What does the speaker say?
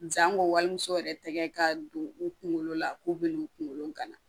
Sanko wali muso yɛrɛ tɛgɛ ka don u kunkolo la k'u bɛ n'u kunkolo kana